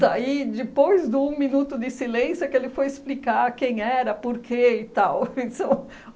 Daí, depois do um minuto de silêncio, é que ele foi explicar quem era, por quê e tal, então